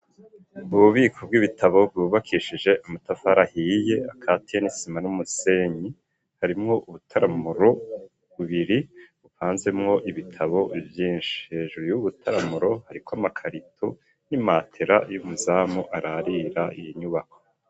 Ububiko bw'ibitabo bwubakishije amatafari ahiye akatiye n'isima n'umusenyi harimwo ubutaramuro bubiri bupanzemwo ibitabo vyinshi hejuru y'ubutaramuro hariko amakarito n'imatera y'umuzamu ararira iyi nyubako